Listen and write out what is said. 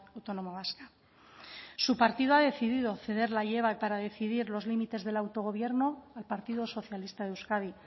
autónoma vasca su partido ha decidido ceder la llave para decidir los límites del autogobierno al partido socialista de euskadi